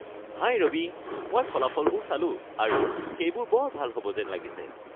হাই ৰবি, মই ফলাফলবোৰ চালোঁ আৰু সেইবোৰ বৰ ভাল হ’ব যেন লাগিছে৷